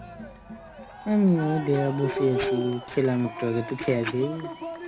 আমিও দেখ বসে আছি. খেলাম একটু আগে. তুই খেয়েছিস?